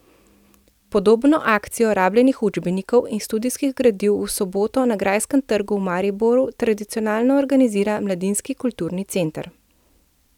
Podobno akcijo rabljenih učbenikov in študijskih gradiv v soboto na Grajskem trgu v Mariboru tradicionalno organizira Mladinski kulturni center.